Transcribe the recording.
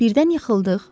Birdən yıxıldıq.